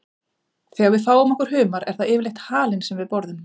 Þegar við fáum okkur humar er það yfirleitt halinn sem við borðum.